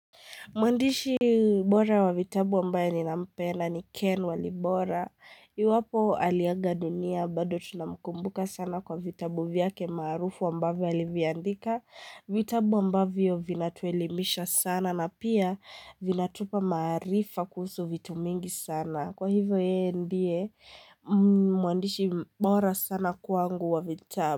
Mwandishi bora wa vitabu ambayo ninampenda ni Ken walibora. Iwapo aliaga dunia bado tunamkumbuka sana kwa vitabu vyake maarufu ambavyo aliviandika. Vitabu ambavyo vinatuelimisha sana na pia vinatupa maarifa kuhusu vitu mingi sana. Kwa hivyo yeye ndiye mwandishi bora sana kwangu wa vitabu.